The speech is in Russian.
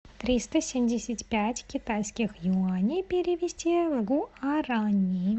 триста семьдесят пять китайских юаней перевести в гуарани